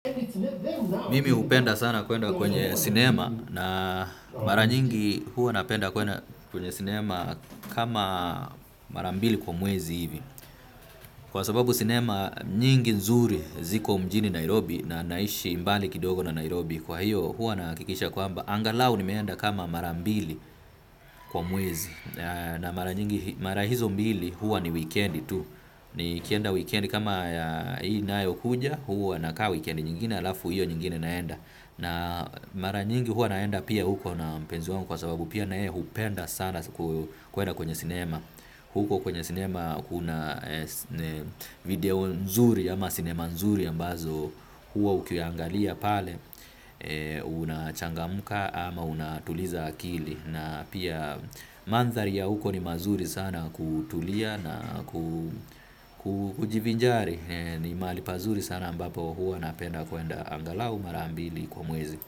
Mimi hupenda sana kuenda kwenye sinema na mara nyingi huwa napenda kwenye sinema kama mara mbili kwa mwezi hivi. Kwa sababu sinema nyingi nzuri ziko mjini Nairobi na naishi mbali kidogo na Nairobi kwa hiyo huwa nahakikisha kwamba. Angalau nimeenda kama marambili kwa mwezi na mara hizo mbili huwa ni weekendi tu. Ni kienda weekendi kama hii inayo kuja huwa nakaa weekendi nyingine alafu hiyo nyingine naenda. Na mara nyingi huwa naenda pia huko na mpenzi wangu. Kwa sababu pia nae hupenda sana kuenda kwenye sinema. Huko kwenye sinema kuna video nzuri ama sinema nzuri ambazo huwa ukiangalia pale. Una changamuka ama unatuliza akili. Na pia manzari ya huko ni mazuri sana kutulia na kujivinjari. Ni mahali pazuri sana ambapo huwa napenda kuenda angalau mara mbili kwa mwezi.